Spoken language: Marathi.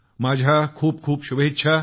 माझ्या खूप खूप शुभकामना